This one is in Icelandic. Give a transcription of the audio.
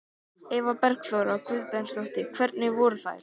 Eva Bergþóra Guðbergsdóttir: Hvernig voru þær?